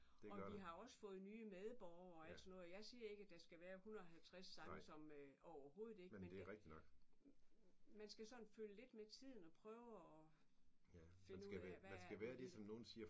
Og vi har også fået nye medborgere og alt sådan noget og jeg siger ikke at der skal være 150 nye sange som overhovedet ikke men det man skal sådan følge lidt med tiden og prøve at finde ud af hvad er det nu lige